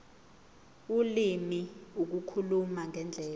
ulimi ukukhuluma ngendlela